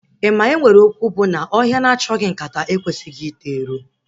Ị ma enwere okwu bụ na ọhịa na achọghị nkata ekwesịghị ito ero?